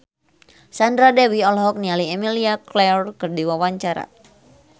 Sandra Dewi olohok ningali Emilia Clarke keur diwawancara